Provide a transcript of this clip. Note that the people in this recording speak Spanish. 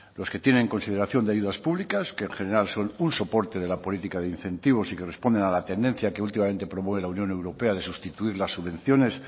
los que tienen consideración de ayudas públicas que en general son un soporte de la política de incentivos y que responden a la tendencia que últimamente promueve la unión europea de sustituir las subvenciones